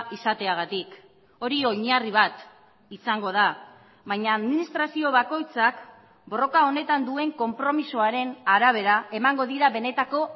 izateagatik hori oinarri bat izango da baina administrazio bakoitzak borroka honetan duen konpromisoaren arabera emango dira benetako